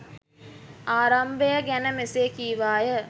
ආරම්භය ගැන මෙසේ කීවාය.